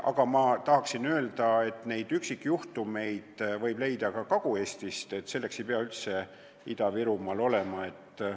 Samas tahan öelda, et üksikjuhtumeid on teada ka Kagu-Eestist, mitte ainult Ida-Virumaalt.